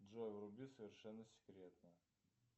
джой вруби совершенно секретно